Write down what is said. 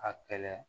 A kɛlɛ